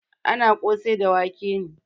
Ana kosai da wake ne.